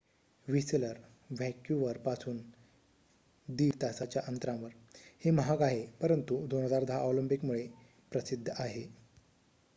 Whistler Vancouver पासून 1.5 तासाच्या अंतरावर हे महाग आहे परंतु 2010ऑलिम्पिक मुळे प्रसिद्ध आहे